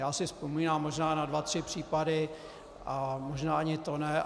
Já si vzpomínám možná na dva tři případy, a možná ani to ne.